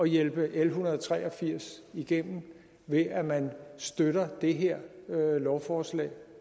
hjælpe l en hundrede og tre og firs igennem ved at man støtter det her lovforslag